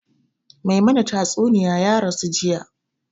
Mai mana tastunniya ya rasu jiya